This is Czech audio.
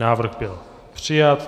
Návrh byl přijat.